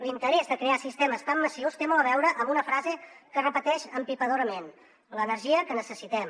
l’interès de crear sistemes tan massius té molt a veure amb una frase que es repeteix empipadorament l’energia que necessitem